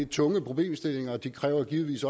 tunge problemstillinger de kræver givetvis